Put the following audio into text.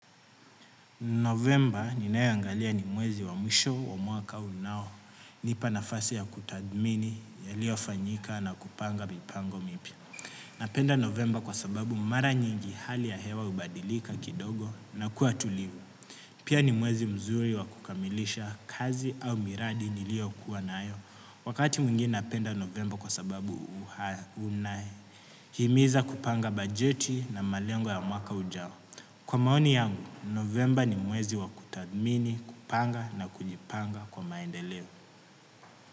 Novemba ninayoangalia ni mwezi wa mwisho wa mwaka unaonipa nafasi ya kutathmini yaliyofanyika na kupanga mipango mipya. Napenda Novemba kwa sababu mara nyingi hali ya hewa hubadilika kidogo na kuwa tulivu. Pia ni mwezi mzuri wa kukamilisha kazi au miradi niliyokuwa nayo. Wakati mwingi napenda Novemba kwa sababu unahimiza kupanga bajeti na malengo ya mwaka ujao. Kwa maoni yangu, novemba ni mwezi wa kutathmini, kupanga na kujipanga kwa maendeleo.